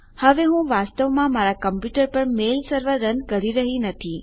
હવે હું વાસ્તવમાં મારા કમપ્યુટર પર મેલ સર્વર રન કરી રહી નથી